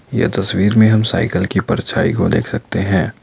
यह तस्वीर में हम साइकिल की परछाई को देख सकते हैं।